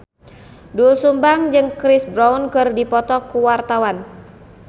Doel Sumbang jeung Chris Brown keur dipoto ku wartawan